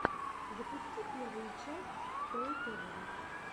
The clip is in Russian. запусти первую часть стрэй тэвэ